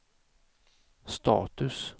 status